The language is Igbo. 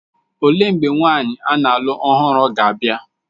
Olee mgbe nwaanyị a na-alụ ọhụrụ ga-abịa?